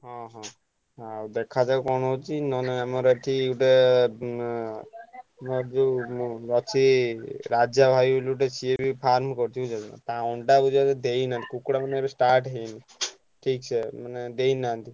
ହଁ ହଁ ଆଉ ଦେଖାଯାଉ କଣ ହଉଛି ନହେଲେ ଆମର ଏଠି ଗୋଟେ ଉଁ ଆମର ଯୋଉ ଉ ଅଛି ରାଜା ଭାଇ ବୋଲି ଗୋଟେ ସିଏବି farm କରିଛି ବୁଝିପାଇଲ। ତା ଅଣ୍ଡା ଗୁଡାକ ଦେଇନାହାନ୍ତି କୁକୁଡ଼ା ମାନେ ଏବେ start ହେଇନି ହେଇଛ ମାନେ ଦେଇନାହାନ୍ତି।